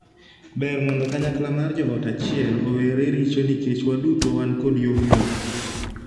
Ber mondo kanyakla mar joot achiel owere richo nikech waduto wan kod yomyom.